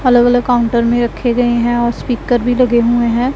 अलग अलग काउंटर में रखे गए हैं और स्पीकर भी लगे हुए हैं।